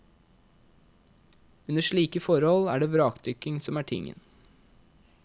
Under slike forhold er det vrakdykking som er tingen.